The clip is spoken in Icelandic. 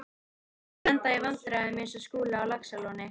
Þeir lenda í vandræðum eins og Skúli á Laxalóni.